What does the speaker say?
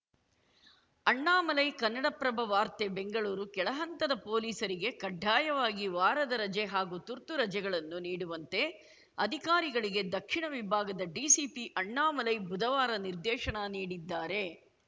ಅಣ್ಣಾಮಲೈ ಕನ್ನಡಪ್ರಭ ವಾರ್ತೆ ಬೆಂಗಳೂರು ಕೆಳಹಂತದ ಪೊಲೀಸರಿಗೆ ಕಡ್ಡಾಯವಾಗಿ ವಾರದ ರಜೆ ಹಾಗೂ ತುರ್ತು ರಜೆಗಳನ್ನು ನೀಡುವಂತೆ ಅಧಿಕಾರಿಗಳಿಗೆ ದಕ್ಷಿಣ ವಿಭಾಗದ ಡಿಸಿಪಿ ಅಣ್ಣಾಮಲೈ ಬುಧವಾರ ನಿರ್ದೇಶನ ನೀಡಿದ್ದಾರೆ